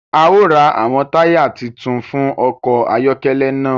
A o rá awọn taya títún fún ọkọ ayọkẹlẹ náà